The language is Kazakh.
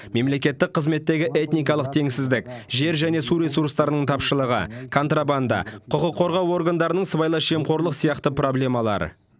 мемлекеттік қызметтегі этникалық теңсіздік жер және су ресурстарының тапшылығы контрабанда құқық қорғау органдарының сыбайлас жемқорлық сияқты проблемалары